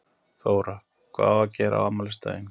Þóra: Hvað á að gera á afmælisdaginn?